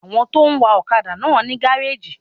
Àwọn tí ó ń wa ọ́kadà náà ní gáréjì